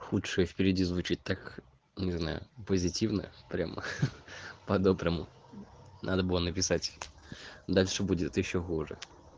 худшее впереди звучит так не знаю позитивное прямо хи-хи по-доброму надо было написать дальше будет ещё хуже